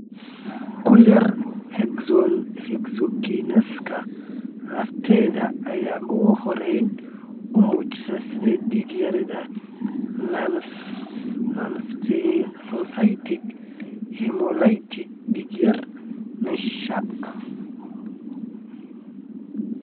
Kuyaar Hexokinaska lafteeda ayaa ugu horrayn u muujisa sida dig yarida nonspherocytic hemolytic dig yari (NSHA).